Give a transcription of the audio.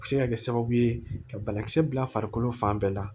A bɛ se ka kɛ sababu ye ka banakisɛ bila farikolo fan bɛɛ la